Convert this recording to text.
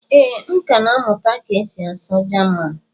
ee, m ka na-amụta ka esi asụ jaman